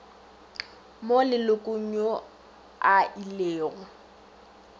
mo lelokong yo a ilego